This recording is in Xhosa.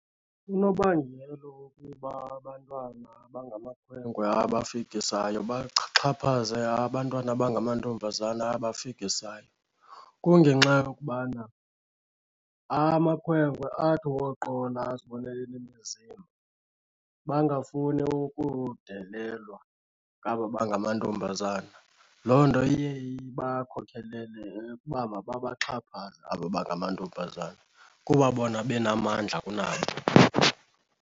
Unobangela wokuba abantwana abangamakhwenkwe abafikisayo baxhaphaze abantwana abangamantombazana abafikisayo, kungenxa yokubana amakhwenkwe athi woqola azibone enemizimba bangafuni ukudelelwa ngaba bangamantombazana. Loo nto iye ibakhokelele ukuba mababaxhaphaze aba bangamantombazana kuba bona benamandla kunabo.